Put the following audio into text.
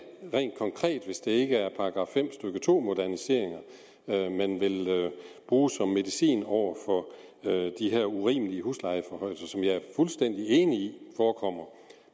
rent konkret er hvis det ikke er § fem stykke to moderniseringer man vil bruge som medicin over for de her urimelige huslejeforhøjelser som jeg er fuldstændig enig i forekommer